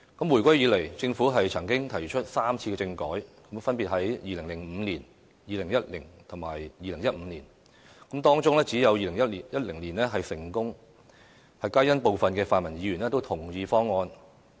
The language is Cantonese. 回歸以來，政府曾提出3次政改，分別是在2005年、2010年及2015年，當中只有2010年是成功的，皆因部分泛民議員都同意方案。